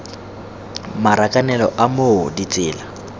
marakanelo a t moo ditsela